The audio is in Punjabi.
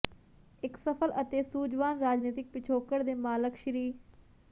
ਇੱਕ ਸਫਲ ਅਤੇ ਸੂਝਵਾਨ ਰਾਜਨੀਤਿਕ ਪਿਛੋਕੜ ਦੇ ਮਾਲਕ ਸ੍ਰ